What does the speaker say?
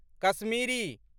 Kashmiri